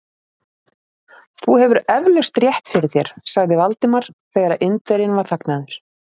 Þú hefur eflaust rétt fyrir þér sagði Valdimar, þegar Indverjinn var þagnaður.